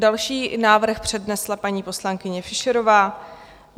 Další návrh přednesla paní poslankyně Fischerová.